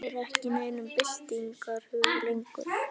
Þeir voru ekki í neinum byltingarhug lengur.